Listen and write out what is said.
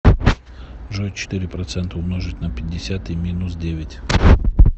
джой четыре процента умножить на пятьдесят и минус девять